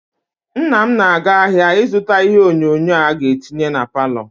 Nna m na-aga ahịa ịzụta ihe onyonyo ọ ga-etinye na palọ.